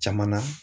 Caman na